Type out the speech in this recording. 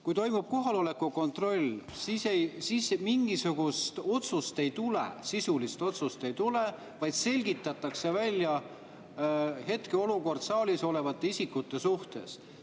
Kui toimub kohaloleku kontroll, siis mingisugust otsust ei tule, sisulist otsust ei tule, vaid selgitatakse välja hetkeolukord saalis olevate isikute suhtes.